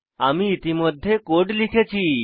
আমি ইতিমধ্যে কোড লিখেছি